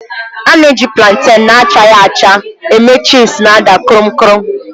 A na-eji plantèn na-achaghị acga eme chịpsi na-ada kruum kruum.